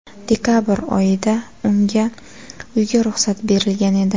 Dekabr oyida unga uyga ruxsat berilgan edi.